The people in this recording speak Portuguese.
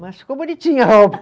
Mas ficou bonitinha